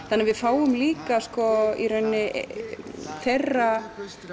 þannig að við fáum líka í rauninni þeirra